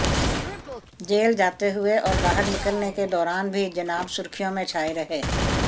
jail जाते हुए और बाहर निकलने के दौरान भी जनाब सुर्खियों में छाए रहे